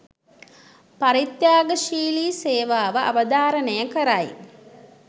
පරිත්‍යාගශීලී සේවාව අවධාරණය කරයි.